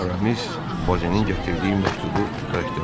Aramis Bozenin gətirdiyi məktubu bərkdən oxudu.